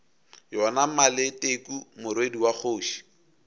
yona maleteku morwedi wa kgoši